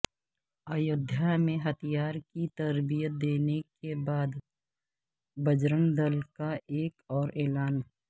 ایودھیا میں ہتھیار کی تربیت دینے کے بعد بجرنگ دل کا ایک اور اعلان